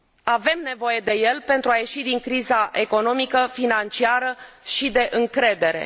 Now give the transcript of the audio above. Avem nevoie de el pentru a ieși din criza economică, financiară și de încredere.